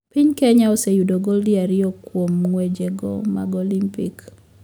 Piny kenya oseyudo gold ariyo kuwom ng`weje go mag olympique